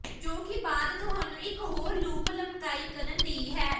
ਜੋ ਕਿ ਬਾਅਦ ਤੁਹਾਨੂੰ ਇੱਕ ਹੋਰ ਲੂਪ ਲਮਕਾਈ ਕਰਨ ਦੀ ਹੈ